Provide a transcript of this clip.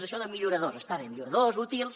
això de milloradors està bé milloradors útils